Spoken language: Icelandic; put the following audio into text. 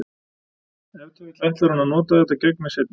Ef til vill ætlar hún að nota þetta gegn mér seinna.